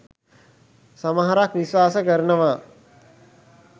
සමහරක් විශ්වාස කරනවා.